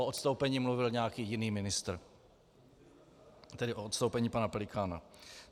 O odstoupení mluvil nějaký jiný ministr - tedy o odstoupení pana Pelikána.